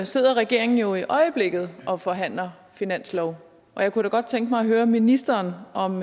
sidder regeringen jo i øjeblikket og forhandler finanslov og jeg kunne da godt tænke mig at høre ministeren om